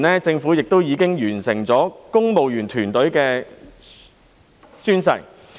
政府早前亦已完成公務員團隊的宣誓。